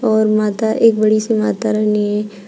और माता एक बड़ी सी माता रानी--